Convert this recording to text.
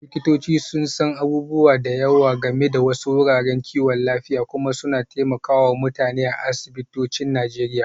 Likitoci sun san abubuwa da yawa game da wasu wuraren kiwon lafiya kuma suna taimaka wa mutane a asibitocin Najeriya.